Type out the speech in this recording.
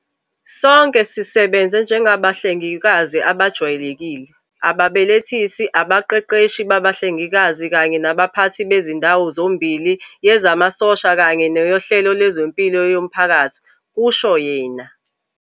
"Sonke sisebenze njengabahlengikazi abajwayelekile, ababelethisi, abaqeqeshi babahlengikazi kanye nabaphathi bezindawo zombili yezamasosha kanye neyohlelo lwezempilo yomphakathi," kusho yena.